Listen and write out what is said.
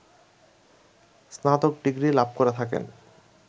স্নাতক ডিগ্রী লাভ করে থাকেন